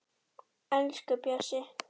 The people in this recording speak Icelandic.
Elsku Bjössi